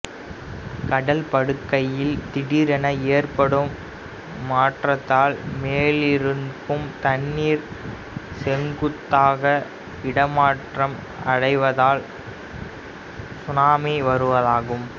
கடல் படுகையில் திடீரென ஏற்படும் மாற்றதால் மேலிருக்கும் தண்ணீர் செங்குத்தாக இடமாற்றம் அடைவதால் சுனாமி உருவாகும்